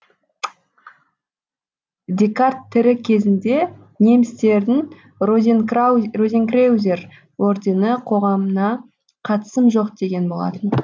декарт тірі кезінде немістердің розенкреузер ордені қоғамына қатысым жоқ деген болатын